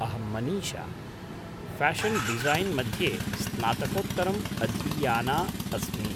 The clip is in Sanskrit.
अहं मनीषा, फ्याशन् डिसैन् मध्ये स्नातकोत्तरम् अधीयाना अस्मि।